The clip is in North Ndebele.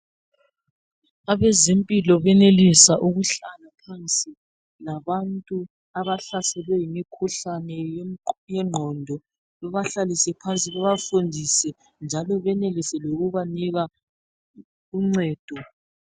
Abezempilo benelisa ukuhlala phansi labantu abahlaselwe yimikhuhlane yengqondo bebahlalise phansi bebafundise njalo benelise lokubanika uncedo.